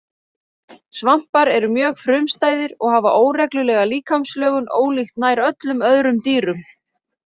Svampar eru mjög frumstæðir og hafa óreglulega líkamslögun ólíkt nær öllum öðrum dýrum.